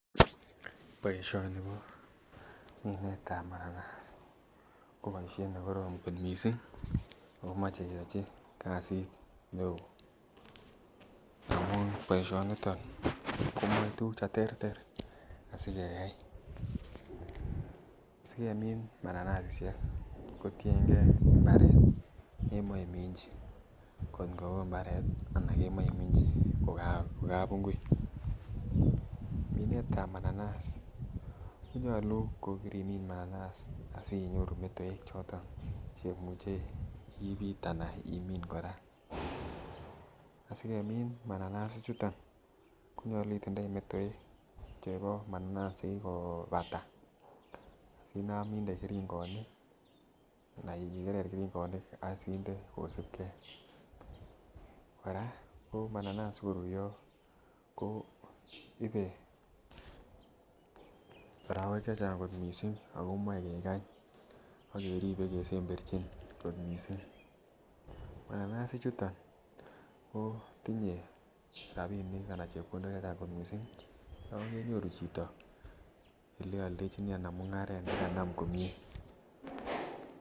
boishoni koo mineet ab mananas, ago boisheet negoroom kot mising ago koche keyochii kasiit neoo amun boishoniton komee tugut cheterter asigeyaai, sigemiin mananasissyeek kotiyengee imbareet nemoee iminchi kot kotkoo imbareet anan kemoche iminchi kogabungui , miinet ab mananas konyoluu kogorimin mananas asinyoruu metoek choton chemuche ibiit anan imiin koraa, asigemin mananas ichuton konyoluu itindoii metoek cheboo mananas chegigobataa inaam inde keringonik anan igerr keringonik asinde kosuub kee, koraa ko mananas sigoruryoo koibee oroweek chechang kooot mising ago moee kegany ak keribe kesemberchin koot mising. mananas ichuton kotinye rabinik anan chepkondook chechang koot mising yoon kenyoruu chito oleoldechinii anan mungareet neganam komyee